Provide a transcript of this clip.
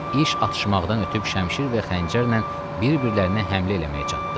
İş atışmaqdan ötüb şəmşir və xəncərlə bir-birlərinə həmlə eləməyə çatdı.